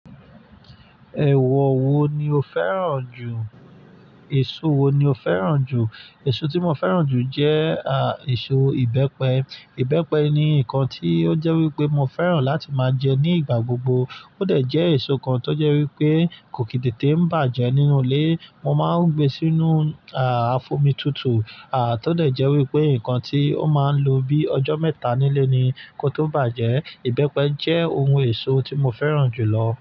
Ẹ̀wọ̀ wo ni o fẹ́ràn jù? Ẹ̀ẹ̀so wo ni o fẹ́ràn jù? Ẹ̀ẹ̀so tí mo fẹ́ràn jù jẹ́ à ẹ̀ẹ̀so ìbẹ́pẹ. Ìbẹ́pẹ ni nǹkan tí ó jẹ́ wípé mo fẹ́ràn láti máa jẹ ní ìgbà gbogbo. Ó dẹ̀ jẹ́ ẹ̀ṣọ̀ kan tó jẹ́ wípé kò kì í tètè bá jẹ́ nínú ilé. Mo máa ń gbé sínú à á f'ómi tútù. À tó dẹ̀ jẹ́ wípé ǹkan tí ó máa ń lo bí ọjọ́ mẹ́ta nílé ni kó tó bá jẹ́. Ìbẹ́pẹ jẹ́ ohun ẹ̀ṣọ́ tí mo fẹ́ràn jù lọ.